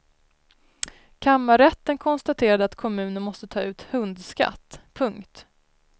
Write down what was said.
Kammarrätten konstaterade att kommunen måste ta ut hundskatt. punkt